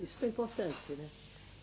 Isso foi importante, né?